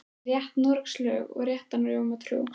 Á veröndinni var starfsfólk að leggja á borð.